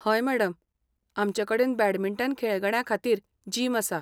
हय मॅडम, आमचे कडेन बॅडमिंटन खेळगड्यां खातीर जिम आसा.